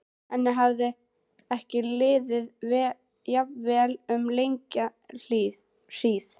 Henni hafði ekki liðið jafn vel um langa hríð.